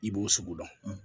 I b'o sogo dɔn